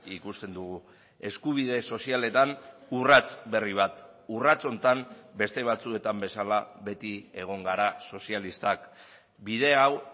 ikusten dugu eskubide sozialetan urrats berri bat urrats honetan beste batzuetan bezala beti egon gara sozialistak bide hau